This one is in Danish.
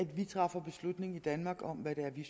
at vi træffer beslutning i danmark om hvad vi